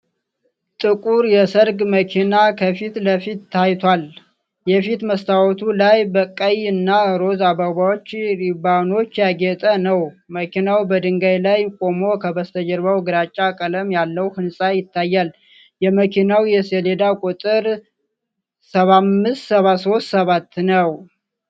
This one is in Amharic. ጥቁር የሰርግ መኪና ከፊት ለፊት ታይቷል፣ የፊት መስታወቱ ላይ በቀይ እና ሮዝ አበባዎችና ሪባኖች ያጌጠ ነው። መኪናው በድንጋይ ላይ ቆሞ ከበስተጀርባው ግራጫ ቀለም ያለው ህንጻ ይታያል። የመኪናው የሰሌዳ ቁጥር "75737" ነው።